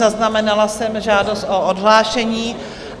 Zaznamenala jsem žádost o odhlášení.